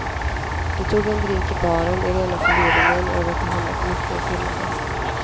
De tog en drink i baren i rena förvirringen över att ha hamnat mitt i en firmafest.